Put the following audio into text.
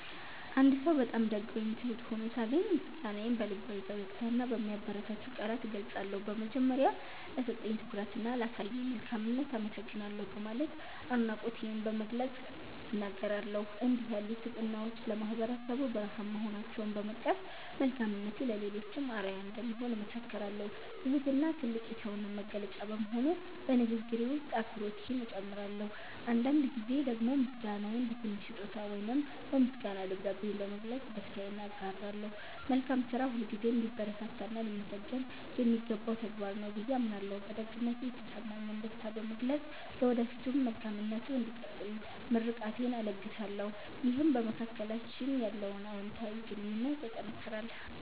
አንድ ሰው በጣም ደግ ወይም ትሁት ሆኖ ሳገኝ፣ ምስጋናዬን በልባዊ ፈገግታና በሚያበረታቱ ቃላት እገልጻለሁ። በመጀመሪያ፣ "ለሰጠኝ ትኩረትና ላሳየኝ መልካምነት አመሰግናለሁ" በማለት አድናቆቴን በግልጽ እናገራለሁ። እንዲህ ያሉ ስብዕናዎች ለማህበረሰቡ ብርሃን መሆናቸውን በመጥቀስ፣ መልካምነቱ ለሌሎችም አርአያ እንደሚሆን እመሰክራለሁ። ትህትና ትልቅ የሰውነት መገለጫ በመሆኑ፣ በንግግሬ ውስጥ አክብሮቴን እጨምራለሁ። አንዳንድ ጊዜ ደግሞ ምስጋናዬን በትንሽ ስጦታ ወይም በምስጋና ደብዳቤ በመግለጽ ደስታዬን አጋራለሁ። መልካም ስራ ሁልጊዜም ሊበረታታና ሊመሰገን የሚገባው ተግባር ነው ብዬ አምናለሁ። በደግነቱ የተሰማኝን ደስታ በመግለጽ፣ ለወደፊቱም መልካምነቱ እንዲቀጥል ምርቃቴን እለግሳለሁ። ይህም በመካከላችን ያለውን አዎንታዊ ግንኙነት ያጠናክራል።